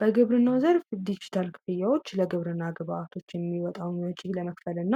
በግብርና ዘር ዲጂታል ለግብርና ግብዓቶችን የሚመጣው ለመክፈል እና